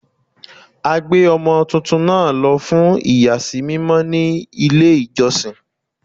A gbé ọmọ tuntun náà lọ fún iyasi mímọ ní ilé ìjọsìn.